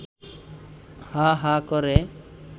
হা হা করে